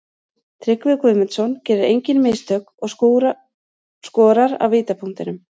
Tryggvi Guðmundsson gerir engin mistök og skorar af vítapunktinum.